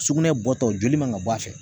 Sugunɛ bɔtɔ joli man ka bɔ a fɛ